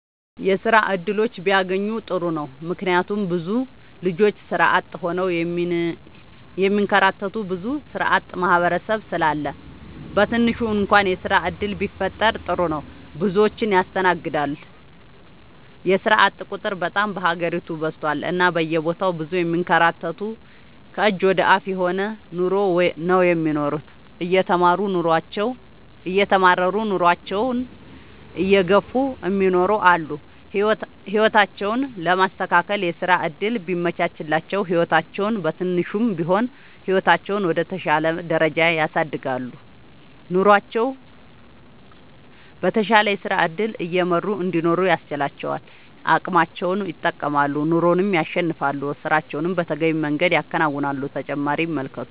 የስራ እድሎች ቢያገኙ ጥሩ ነው ምክንያቱም ብዙ ልጆች ስራ አጥ ሆነው የሚንከራተቱ ብዙ ስራአጥ ማህበረሰብ ስላለ በትንሹ እንኳን የስራ ዕድል ቢፈጠር ጥሩ ነው። ብዙዎችን ያስተናግዳል የስራአጥ ቁጥር በጣም በሀገሪቱ በዝቷል እና በየቦታው ብዙ የሚንከራተቱ ከእጅ ወደ አፍ የሆነ ኑሮ ነው የሚኖሩት እየተማረሩ ኑሮአቸውን እየገፍ እሚኖሩ አሉ። ህይወታቸውን ለማስተካከል የስራ ዕድል ቢመቻችላቸው ህይወታቸውን በትንሹም ቢሆን ህይወታቸውን ወደ ተሻለ ደረጃ ያሳድጋሉ። ኑሮቸውን በተሻለ የስራ ዕድገት እየመሩ እንዲኖሩ ያስችላቸዋል አቅማቸውን ይጠቀማሉ ኑሮንም ያሸንፋሉ። ስራቸውን በተገቢው መንገድ ያከናውናሉ።…ተጨማሪ ይመልከቱ